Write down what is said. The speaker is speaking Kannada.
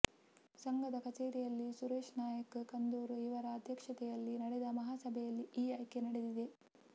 ಸಂಘದ ಕಚೇರಿಯಲ್ಲಿ ಸುರೇಶ್ ನಾಯಕ್ ಕಂದೂರು ಇವರ ಅಧ್ಯಕ್ಷತೆಯಲ್ಲಿ ನಡೆದ ಮಹಾ ಸಭೆಯಲ್ಲಿ ಈ ಆಯ್ಕೆ ನಡೆದಿದೆ